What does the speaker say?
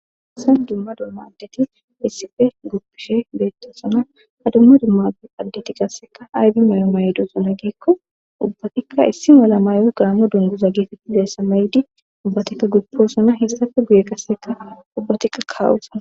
Hayssan dumma dumma addeti issife guppishe beettosana ha dumma dummai addeti qasseka aybi mayo mayidi geekko ubbatikka issi mala mayo gaamo dunguza getetizayssa deessa maydi ubbatikka gupposona hessafe guye qasseka ubbatikka kaa'osana